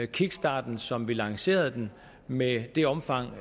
kickstarten som vi lancerede den med det omfang